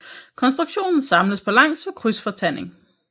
Konstruktionen samles på langs ved krydsfortanding